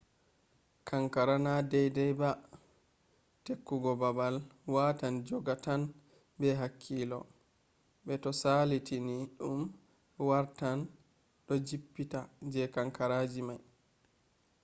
kankara na deydey ba ; tekkugo baabal watan jogga tan be hakkilo be to salitini ɗum wartan du jippita je kankaraji may